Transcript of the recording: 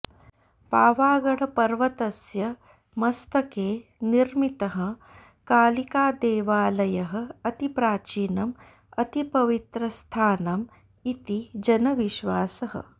पावागढपर्वतस्य मस्तके निर्मितः कालिकादेवालयः अतिप्राचीनं अतिपवित्रस्थानम् इति जनविश्वासः